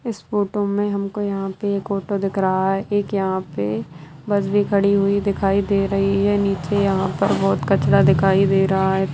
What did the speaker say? इस फोटो में हम को यहाँ पे एक ऑटो दिख रहा है एक यहाँ पे बस भी खड़ी हुई दिखाई दे रही है नीचे यहाँ पर बहुत कचरा दिखाई दे रहा है।